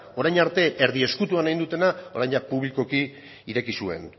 orain arte erdi ezkutuan egin dutena orain publikoki ireki zuen